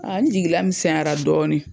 An jigi lamisɛnyara dɔɔni.